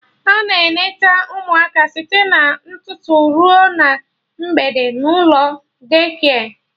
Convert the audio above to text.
Ana eneta ụmụaka site na ụtụtụ ruo na mgbede n'ụlọ Daycare